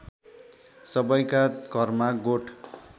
सबैका घरमा गोठ